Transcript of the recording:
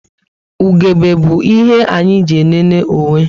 Ugegbe bu ihe anyị eji elele onwe